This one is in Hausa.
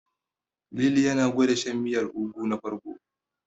Lili yana gwanda shan miyar ganyen Ugu na farko.